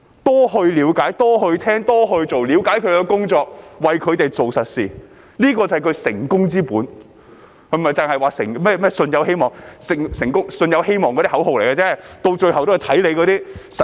多了解、多聆聽、多做事，了解自己的工作，為他們做實事，這便是他的成功之本，並非只是說"信有希望"，那只是口號，最終也要看實績。